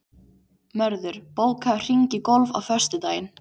Mörður, bókaðu hring í golf á föstudaginn.